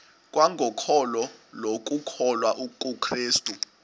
kwangokholo lokukholwa kukrestu